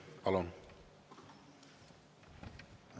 Palun!